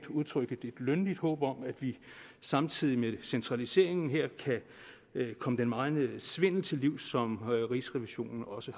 udtrykke et lønligt håb om at vi samtidig med centraliseringen her kan komme den megen svindel til livs som rigsrevisionen også